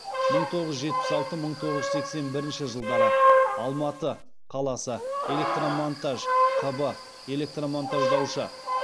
мың тоғыз жүз жетпіс алты мың тоғыз жүз сексен бірінші жылдары алматы қаласы электромонтаж қб электромонтаждаушы